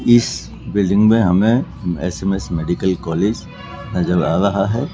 इस बिल्डिंग में हमें एस_एम_एस मेडिकल कॉलेज नजर आ रहा है।